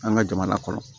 An ka jamana kɔrɔ